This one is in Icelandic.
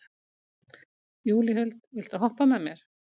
Júlíhuld, viltu hoppa með mér?